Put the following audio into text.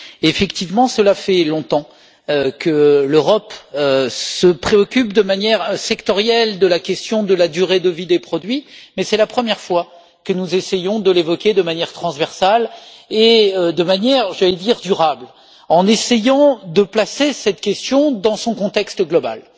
Effectivement, cela fait longtemps que l'Europe se préoccupe de manière sectorielle de la question de la durée de vie des produits, mais c'est la première fois que nous essayons de l'évoquer de manière transversale et, je dirais, dans une perspective durable, en essayant de placer cette question dans son contexte global.